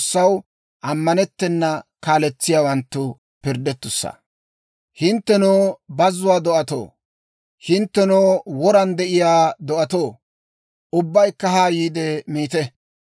Hinttenoo bazzuwaa do'atoo, hinttenoo woran de'iyaa do'atoo, ubbaykka haa yiide miite.